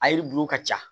A yiri bulu ka ca